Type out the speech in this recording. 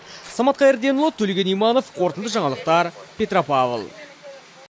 самат қайырденұлы төлеген иманов қорытынды жаңалықтар петропавл